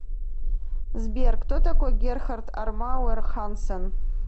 сбер кто такой герхард армауэр хансен